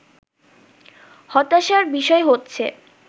হতাশার বিষয় হচ্ছে